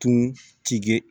Tun ti kɛ